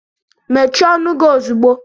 Mechie ọnụ gị ozugbo!